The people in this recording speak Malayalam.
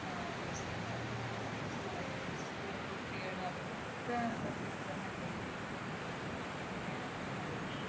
use ചെയ്യുന്നവരൊക്കെ ഉണ്ട്. ഏർ school l കുട്ടികൾ. അവർക്കൊക്കെ കിട്ടുന്നുണ്ട് ഈ സംഭവങ്ങൾ. എങ്ങനെയാണെന്നൊന്നും അറിയില്ല.